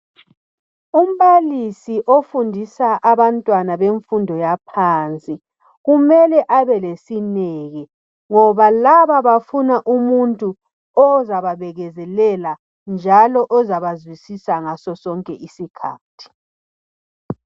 Umbalisi ofundisa abantwana bemfundo yaphansi kumele abe lesineke ngoba laba bafuna umuntu ozababekezelela njalo ozaba zwisisa ngaso sonke isikhathi.